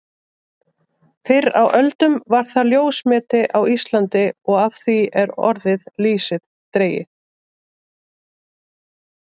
Fyrr á öldum var það ljósmeti á Íslandi og af því er orðið lýsi dregið.